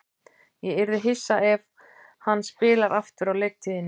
Ég yrði hissa ef hann spilar aftur á leiktíðinni.